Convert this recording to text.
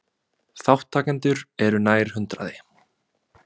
Þátttakendur eru nær hundraði